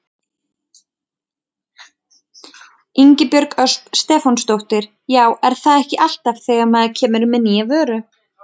Ingibjörg Ösp Stefánsdóttir: Já er það ekki alltaf þegar maður kemur með nýja vöru?